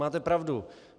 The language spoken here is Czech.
Máte pravdu.